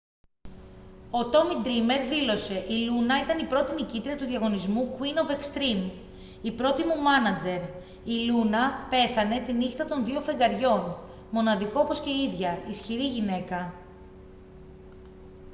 ο τόμι ντρήμερ δήλωσε: «η λούνα ήταν η πρώτη νικήτρια του διαγωνισμού queen of extreme. η πρώτη μου μάνατζερ. η λούνα πέθανε τη νύχτα των δύο φεγγαριών. μοναδικό όπως και η ίδια. ισχυρή γυναίκα.»